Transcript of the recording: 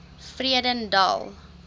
vredendal